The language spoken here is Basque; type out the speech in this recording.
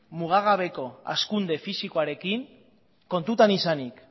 mugagabeko hazkunde fisikoarekin kontutan izanik